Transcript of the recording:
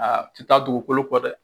Aa a ti taa dugukolo kɔ dɛ